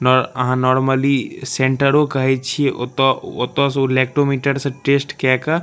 नअहां normally सेंटरों कहे छिये ओता ओता से उ लेक्टोमीटर से टेस्ट केय के --